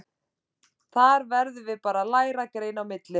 Þar verðum við bara að læra að greina á milli.